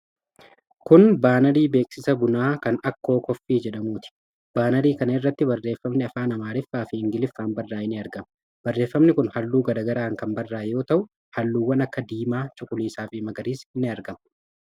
Kun baanarii beeksisa bunaa kan 'Akkoo Kooffii' jedhamuuti. Baanarii kana irratti barreeffamni afaan Amaariffaa fi Ingiliffaan barraa'e ni argama. Barreefamni kun halluu gara garaan kan barraa'e yoo ta'u, halluuwwan akka diimaa, cuquliisa fi magariisni ni argamu.